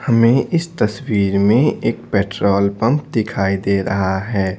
हमें इस तस्वीर में एक पेट्रोल पंप दिखाई दे रहा है।